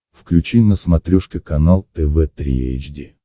включи на смотрешке канал тв три эйч ди